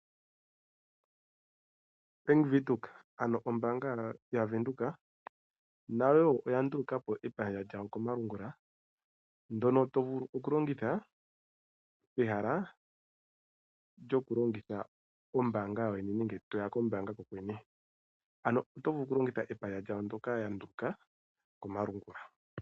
Bank Windhoek, ano ombaanga yaVenduka nayo wo oya nduluka po epandja lyawo komalungula ndyoka to vulu okulongitha peha lyokuya kombaanga kokwene. Oto vulu okulongitha epandja lyawo ndyoka ya nduluka komalungula.